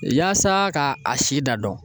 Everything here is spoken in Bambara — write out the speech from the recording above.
Yaasa ka a si da dɔn